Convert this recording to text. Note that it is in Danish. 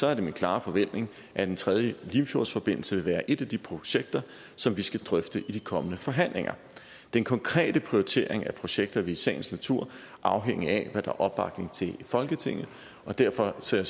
er det min klare forventning at en tredje limfjordsforbindelse vil være et af de projekter som vi skal drøfte i de kommende forhandlinger den konkrete prioritering af projekter vil i sagens natur afhænge af hvad der er opbakning til i folketinget og derfor ser